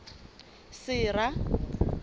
sera